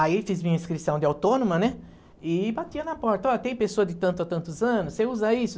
Aí fiz minha inscrição de autônoma, né, e batia na porta, ó, tem pessoa de tanto a tantos anos, você usa isso?